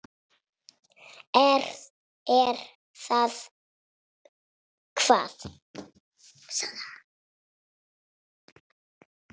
Er það hvað.?